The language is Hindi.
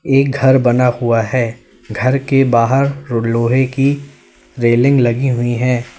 एक घर बना हुआ है घर के बाहर लोहे की रेलिंग लगी हुई हैं।